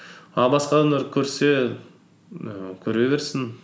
а басқа адамдар көрсе ііі көре берсін